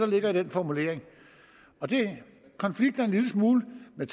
ligger i den formulering og det konflikter en lille smule med